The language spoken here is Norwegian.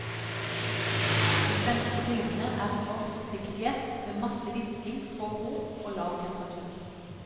De svenske filmene er for forsiktige, med masse hvisking, få rop og lav temperatur.